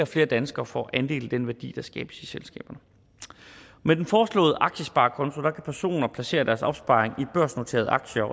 flere danskere får andel i den værdi der skabes i selskaberne med den foreslåede aktiesparekonto kan personer placere deres opsparing i børsnoterede aktier